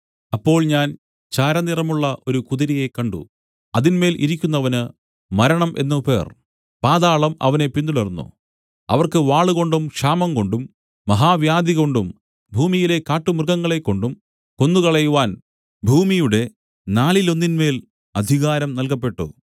അപ്പോൾ ഞാൻ ചാരനിറമുള്ള ഒരു കുതിരയെ കണ്ട് അതിന്മേൽ ഇരിക്കുന്നവന് മരണം എന്നു പേർ പാതാളം അവനെ പിന്തുടർന്നു അവർക്ക് വാളുകൊണ്ടും ക്ഷാമംകൊണ്ടും മഹാവ്യാധികൊണ്ടും ഭൂമിയിലെ കാട്ടുമൃഗങ്ങളെക്കൊണ്ടും കൊന്നുകളയുവാൻ ഭൂമിയുടെ നാലിലൊന്നിന്മേൽ അധികാരം നൽകപ്പെട്ടു